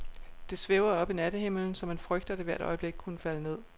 Det svæver oppe i nattehimlen, så man frygter, at det hvert øjeblik kunne falde ned.